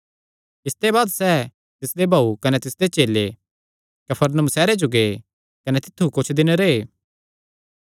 इसते बाद सैह़ कने तिसदी माँ तिसदे भाऊ कने तिसदे चेले कफरनहूम सैहरे जो गै कने तित्थु कुच्छ दिन रैह्